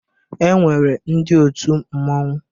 E nwere ndị otu mmọnwụ.